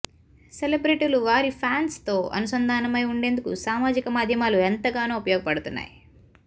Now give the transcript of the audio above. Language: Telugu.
సెలబ్రెటీలు వారి ఫ్యాన్స్తో అనుసంధానమై ఉండేందుకు సామాజిక మాధ్యమాలు ఎంతగానో ఉపయోగపడుతున్నాయి